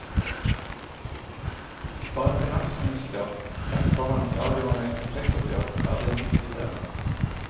For en finansminister rett foran et avgjørende inntektsoppgjør er det en viktig del.